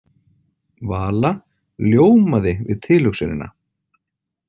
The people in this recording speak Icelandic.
Vala ljómaði við tilhugsunina.